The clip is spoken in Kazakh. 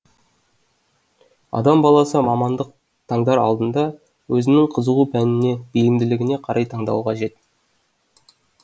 адам баласы мамандық таңдар алдында өзінің қызығу пәніне бейімділігіне қарай таңдауы қажет